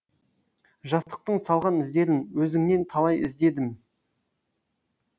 жастықтың салған іздерін өзіңнен талай іздедім